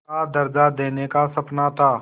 का दर्ज़ा देने का सपना था